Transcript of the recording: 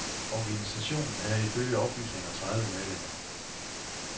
Organisationen havde ifølge oplysninger tredive medlemmer.